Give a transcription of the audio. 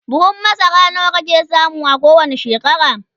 buhun masara nawa kake samu a kowani shekara?